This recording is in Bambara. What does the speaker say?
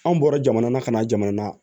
Anw bɔra jamana ka na jamana